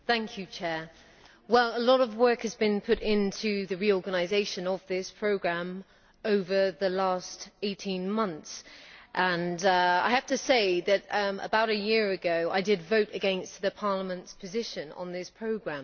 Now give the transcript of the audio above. Mr President, a lot of work has been put into the reorganisation of this programme over the last 18 months and I have to say that, about a year ago, I did vote against the Parliament's position on this programme.